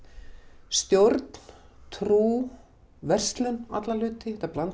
stjórn trú verslun alla hluti þetta blandast